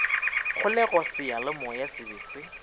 kgolego seyalemoya se be se